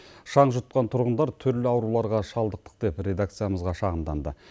шаң жұтқан тұрғындар түрлі ауруларға шалдықтық деп редакциямызға шағымданды